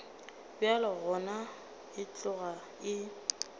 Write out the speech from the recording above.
bjalo gona e tloga e